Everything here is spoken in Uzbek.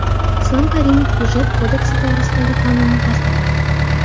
Islom Karimov Byudjet kodeksi to‘g‘risidagi qonunni tasdiqladi.